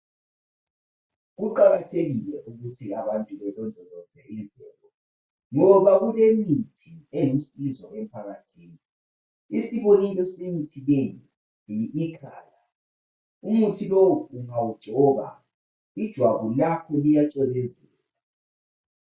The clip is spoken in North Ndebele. Kuqakathekile ukuthi abantu belondoloze imvelo ngoba kulemithi elusizo emphakathini isibonelo semithi leyi umuthi lowu ungawugcoba ijwabu lakho lijacwebezela